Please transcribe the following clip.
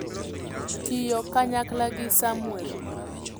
tiyo kanyakla gi Samwel